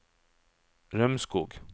Rømskog